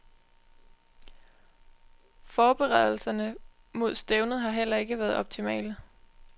Forberedelserne frm mod stævnet har heller ikke været optimale.